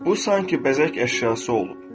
Bu sanki bəzək əşyası olub.